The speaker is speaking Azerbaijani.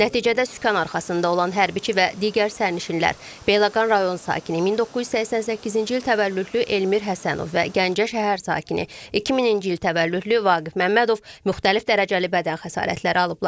Nəticədə sükan arxasında olan hərbiçi və digər sərnişinlər, Beyləqan rayon sakini 1988-ci il təvəllüdlü Elmir Həsənov və Gəncə şəhər sakini 2000-ci il təvəllüdlü Vaqif Məmmədov müxtəlif dərəcəli bədən xəsarətləri alıblar.